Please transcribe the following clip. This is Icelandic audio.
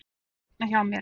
Þeir eru hérna hjá mér.